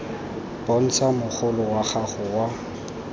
bontsha mogolo wa gago wa